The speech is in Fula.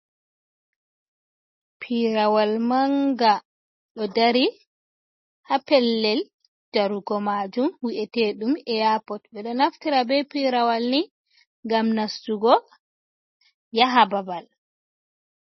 Piirawal manga do dari ha pellel jarugo majum wi’etedum eyapot ɓe ɗo naftira be pirawal ni ngam nastugo yaha babal.